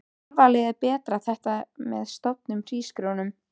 Tilvalið er að bera þetta fram með soðnum hrísgrjón um.